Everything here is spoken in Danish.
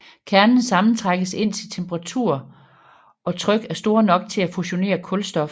Kernen sammentrækkes indtil temperatur og tryk er store nok til at fusionere kulstof